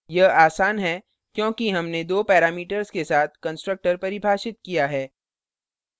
यह आसान है क्योंकि हमने दो parameters के साथ constructor परिभाषित किया है